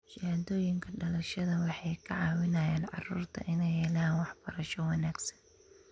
Shahaadooyinka dhalashada waxay ka caawiyaan carruurta inay helaan waxbarasho wanaagsan.